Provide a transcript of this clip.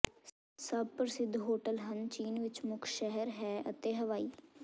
ਸਭ ਪ੍ਰਸਿੱਧ ਹੋਟਲ ਹਨ ਚੀਨ ਵਿਚ ਮੁੱਖ ਸ਼ਹਿਰ ਹੈ ਅਤੇ ਹਵਾਈ